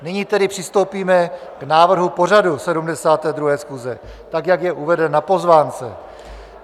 Nyní tedy přistoupíme k návrhu pořadu 72. schůze tak, jak je uvedeno na pozvánce.